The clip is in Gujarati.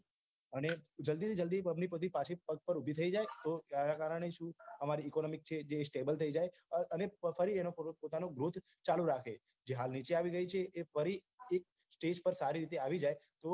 અને જલ્દીથી જલ્દી public બધી પાછી પગ પર ઉભી થઇ જાયે તો એના કારણે જે અમારી economy જે છે stable થઇ જાયે અને ફરી એનો થોડો પોતાનો growth ચાલુ રાખે જે હાલ નીચે આવી ગઈ છે એ ફરી એક stage પર સારી રીતે આવી જાયે તો